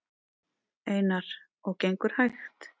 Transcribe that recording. Einar: Og gengur hægt?